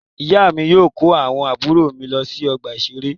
Ìyá mi yóò kó àwọn àbúrò mi lọ ọgbà-ìṣeré.